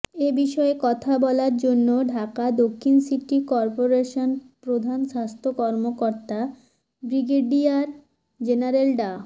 এ বিষয়ে কথা বলার জন্য ঢাকা দক্ষিণ সিটি করপোরেশনের প্রধান স্বাস্থ্য কর্মকর্তা বিগ্রেডিয়ার জেনারেল ডা